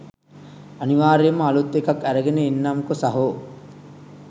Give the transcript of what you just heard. අනිවාර්යයෙන්ම අලුත් එකක් ඇරගෙන එන්නම්කො සහෝ.